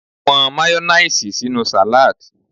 Won Mayonnaise sinu salad